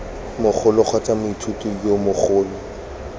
mogolo kgotsa moithuti yo mogolo